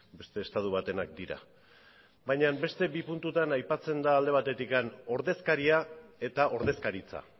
beste estatu batenak dira baina beste bi puntutan aipatzen da alde batetik ordezkaria eta ordezkaritza